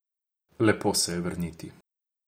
Lepo se je vrniti.